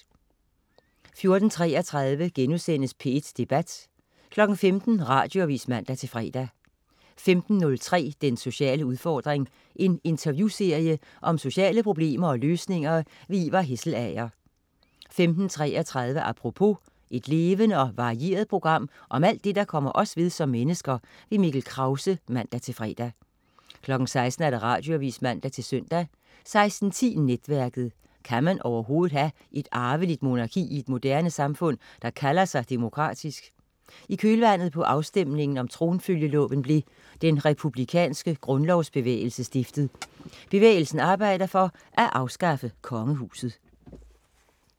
14.33 P1 Debat* 15.00 Radioavis (man-fre) 15.03 Den sociale udfordring. En interviewserie om sociale problemer og løsninger. Ivar Hesselager 15.33 Apropos. Et levende og varieret program om alt det, der kommer os ved som mennesker. Mikkel Krause (man-fre) 16.00 Radioavis (man-søn) 16.10 Netværket. Kan man overhovedet have et arveligt monarki i et moderne samfund, der kalder sig demokratisk? I kølvandet på afstemningen om tronfølgeloven blev Den Republikanske Grundlovsbevægelse stiftet. Bevægelsen arbejder for at afskaffe kongehuset